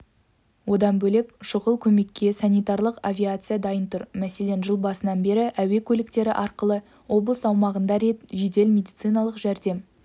одан бөлек шұғыл көмекке санитарлық авиация дайын тұр мәселен жыл басынан бері әуе көліктері арқылы облыс аумағында рет жедел медициналық жәрдем